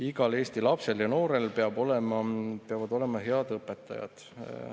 Igal Eesti lapsel ja noorel peavad olema head õpetajad.